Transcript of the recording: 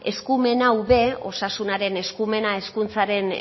eskumen hau ere osasunaren eskumena hezkuntzaren